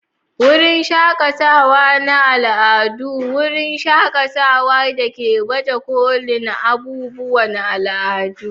Wurin shakatawa na al'adu: wurin shakatawa da ke baje kolin abubuwan al'adu.